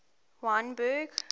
wynberg